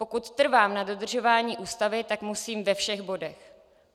Pokud trvám na dodržování ústavy, tak musím ve všech bodech.